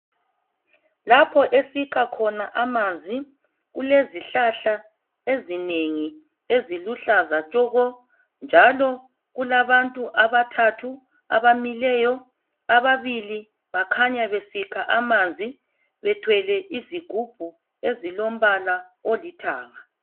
Lapho esikha khona amanzi kulezihlahla ezinengi eziluhlaza tshoko, njalo kulabantu abathathu abamiliyo, ababili bakanya besikha amanzi bethwele izigubhu ezilombala olithanga.